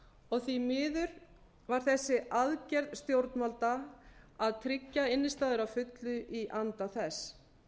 og því miður var þessi aðgerð stjórnvalda að tryggja innstæður að fullu í anda þess